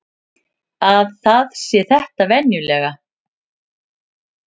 Að það sé þetta venjulega.